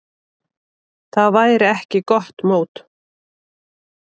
Það væri ekki gott mót.